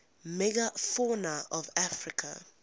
megafauna of africa